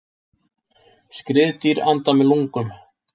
Skriðdýr anda með lungum.